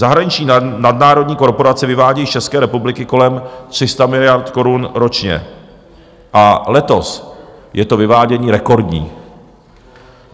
Zahraniční nadnárodní korporace vyvádějí z České republiky kolem 300 miliard korun ročně a letos je to vyvádění rekordní.